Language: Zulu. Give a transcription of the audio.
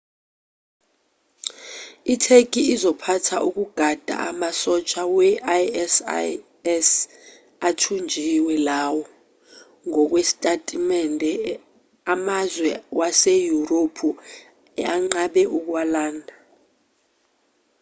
itheki izophatha ukugada amasosha we-isis athunjiwe lawo ngokwesitatimende amazwe waseyurophu anqabe ukuwalanda